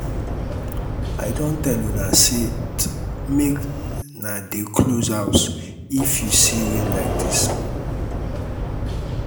i don tell una set make na dey close house if you see wind like dis